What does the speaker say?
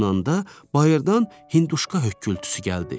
bayırdan hinduşka hökkürtüsü gəldi.